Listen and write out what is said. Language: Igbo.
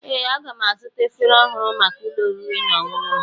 Ee, aga m azụta efere ọhụrụ maka ụlọ oriri na ọṅụṅụ m.